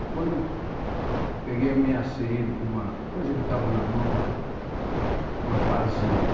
Aí quando eu peguei ameacei ele com uma coisa que eu tava na mão lá, uma pazinha, né?